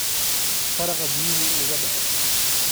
Taraqa biyaha uugu dece.